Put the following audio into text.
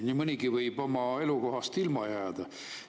Nii mõnigi võib oma elukohast ilma jääda.